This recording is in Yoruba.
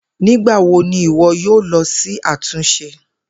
Nigbawo ni iwọ yoo lọ si atunṣe?